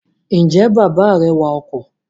Ǹjẹ́ bàbá rẹ wa ọkọ̀?